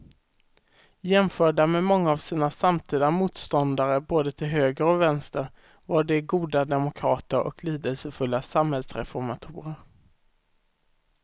Jämförda med många av sina samtida motståndare både till höger och vänster var de goda demokrater och lidelsefulla samhällsreformatorer.